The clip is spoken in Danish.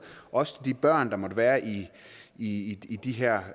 også til de børn der måtte være i de her